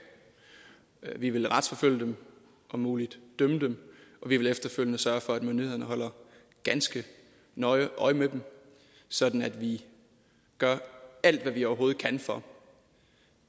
vi vil retsforfølge dem om muligt dømme dem og vi vil efterfølgende sørge for at myndighederne holder ganske nøje øje med dem sådan at vi gør alt hvad vi overhovedet kan for